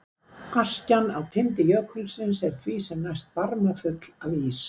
Askjan í tindi jökulsins er því sem næst barmafull af ís.